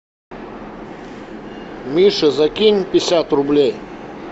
миша закинь пятьдесят рублей